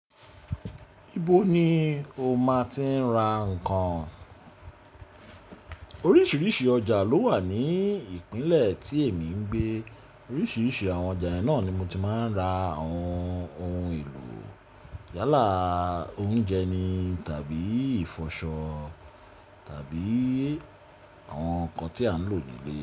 Ibo ni o ma ti ń ra nkan? Oríṣiríṣi ọjà ló wà ní ìpínlẹ̀ tí èmi ń gbé. Oríṣiríṣi àwọn ọjà yìí náà ni mo ti máa ń ra àwọn ohun èlò yálà, oúnjẹ ni tàbí ìfọṣọ tàbí àwọn nkan tí a ń lò ní ilé.